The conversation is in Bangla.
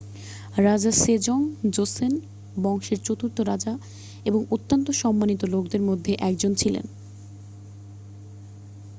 রাজা সেজং জোসোন বংশের চতুর্থ রাজা এবং অত্যন্ত সম্মানিত লোকদের মধ্যে একজন ছিলেন